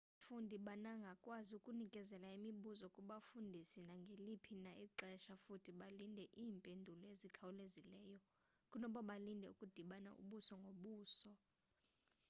abafundi banagakwazi ukunikezela imibuzo kubafundisi nangeliphi na ixesha futhi balindele iimpendulo ezikhawulezileyo kunoba balinde ukudibana ubuso ngobuso